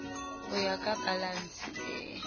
ho ya ka balanse e